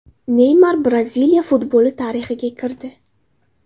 Neymar Braziliya futboli tarixiga kirdi.